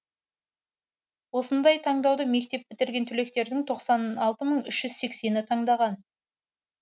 осындай таңдауды мектеп бітірген түлектердің тоқсан алты мың үш жүз сексені таңдаған